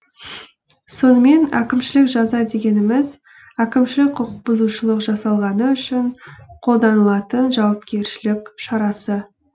сонымен әкімшілік жаза дегеніміз әкімшілік құқық бұзушылық жасалғаны үшін қолданылатын жауапкершілік шарасы